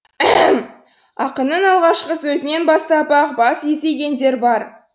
ақынның алғашқы сөзінен бастап ақ бас изегендер бар